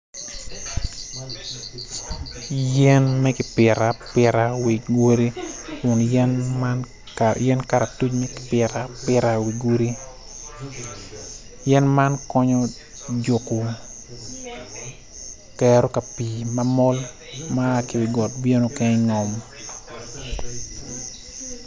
Yen makipito apita wic wode kun yen man yen karatuc ka pito apita i wi godi yen man konyo juko kero kapi mamol ma a ki wi got bino ki ngom